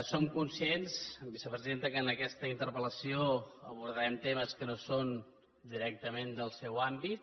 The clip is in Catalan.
som conscients vicepresidenta que en aquesta interpel·lació abordarem temes que no són directament del seu àmbit